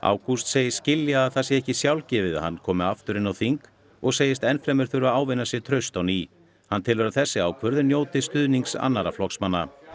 ágúst segist skilja að það sé ekki sjálfgefið að hann komi aftur inn á þing og segist enn fremur þurfa að ávinna sér traust á ný hann telur að þessi ákvörðun njóti stuðnings annarra flokksmanna